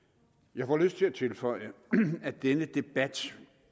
jeg får lyst til at tilføje at denne debat